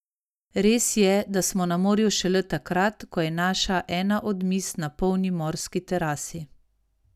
Res je, da smo na morju šele takrat, ko je naša ena od miz na polni morski terasi.